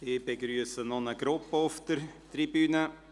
Ich begrüsse noch eine Gruppe auf der Tribüne.